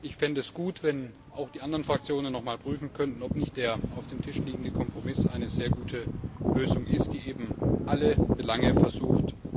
Ich fände es gut, wenn auch die anderen Fraktionen noch einmal prüfen könnten, ob nicht der auf dem Tisch liegende Kompromiss eine sehr gute Lösung ist, die alle Belange einzubinden versucht.